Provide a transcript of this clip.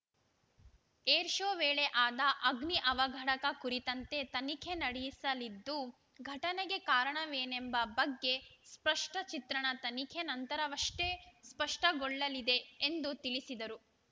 air show ವೇಳೆ ಆದ ಅಗ್ನಿ ಅವಘಡಕ ಕುರಿತಂತೆ ತನಿಖೆ ನಡೆಸಲ್ಲಿದ್ದು ಘಟನೆಗೆ ಕಾರಣವೇನೆಂಬ ಬಗ್ಗೆ ಸ್ಪಷ್ಟಚಿತ್ರಣ ತನಿಖೆ ನಂತರವಷ್ಟೇ ಸ್ಪಷ್ಟಗೊಳ್ಳಲಿದೆ ಎಂದು ತಿಳಿಸಿದರು